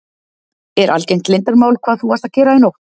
Er algert leyndarmál hvað þú varst að gera í nótt?